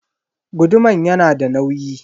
Guduman yanada nauyi.